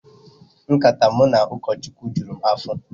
Nkata mụ na ukochukwu jụrụ m afọ